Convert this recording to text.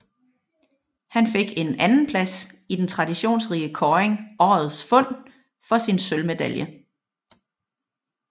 Han fik en andenplads i den traditionsrige kåring Årets Fund for sin sølvmedalje